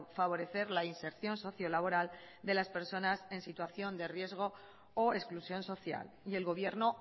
favorecer la inserción socio laboral de las personas en situación de riesgo o exclusión social y el gobierno